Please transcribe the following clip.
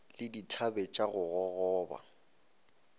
le dithabe tša go gogoba